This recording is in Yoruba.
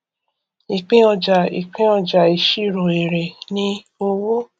ìpín ọjà ìpín ọjà ìṣirò èrè ni owó